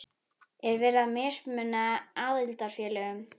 Er verið að mismuna aðildarfélögum?